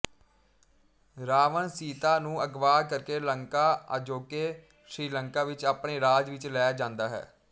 ਰਾਵਣ ਸੀਤਾ ਨੂੰ ਅਗਵਾ ਕਰਕੇ ਲੰਕਾ ਅਜੋਕੇ ਸ੍ਰੀਲੰਕਾ ਵਿੱਚ ਆਪਣੇ ਰਾਜ ਵਿੱਚ ਲੈ ਜਾਂਦਾ ਹੈ